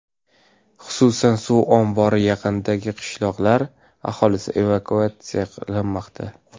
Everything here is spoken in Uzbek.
Xususan, suv ombori yaqinidagi qishloqlar aholisi evakuatsiya qilinmoqda .